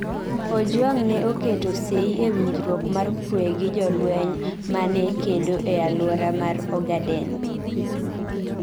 Ojwang' ne oketo sei e winjruok mar kuwe gi jolweny ma ne kedo e alwora mar Ogaden.